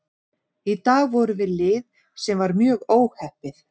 Í dag vorum við lið sem var mjög óheppið.